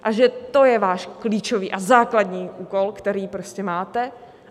A že to je váš klíčový a základní úkol, který prostě máte.